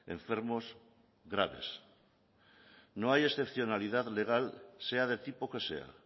enfermos graves no hay excepcionalidad legal sea de tipo que sea